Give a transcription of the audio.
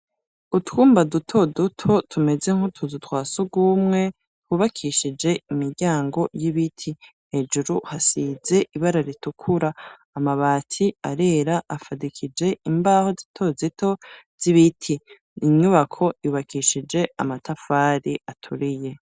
Utwumba duto duto tumeze nk'utuzu twa surwumwe, hubakishije imiryango y'ibiti. Hejuru hasize ibara ritukura . Amabati arera afadikije imbaho zito zito z'ibiti. Inyubako yubakishije amatafari aturiye.